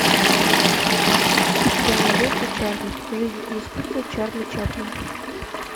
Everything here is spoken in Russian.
у тебя найдется чарли жизнь и искусство чарли чаплина